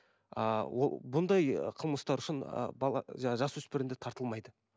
ааа ол бұндай қылмыстары үшін ыыы бала жасөспірімдер тартылмайды